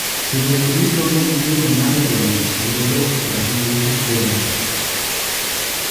Timbe gi duto nigi geno mar yudo loch kendo dok pacho gi kikombe.